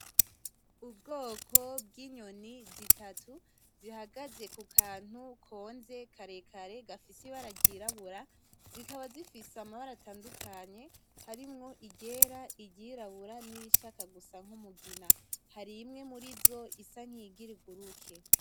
Ubwoko bw'inyoni zitatu zihagaze ku kantu konze karekare gafise ibara ry'irabura, zikaba zifise amabara atandukanye harimwo iryera, iry'irabura nirishaka gusa nk'umugina, hari imwe muri zo isa nkiyigira iguruke.